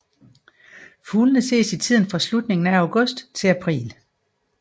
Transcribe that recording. Fuglene ses i tiden fra slutningen af august til april